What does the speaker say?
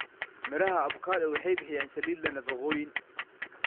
Midhaha avocado waxay bixiyaan saliid leh nafaqooyin.